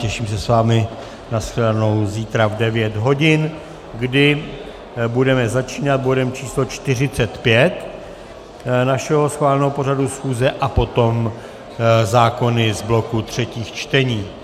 Těším se s vámi na shledanou zítra v 9 hodin, kdy budeme začínat bodem číslo 45 našeho schváleného pořadu schůze a potom zákony z bloku třetích čtení.